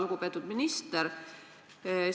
Lugupeetud minister!